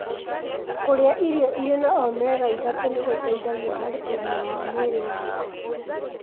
Kũrĩa irio irĩ na omega-3 nĩgũteithagia harĩ ũgima wa mwĩrĩ wa ngoro